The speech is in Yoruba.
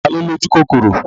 Ta ló lójúkòkòrò?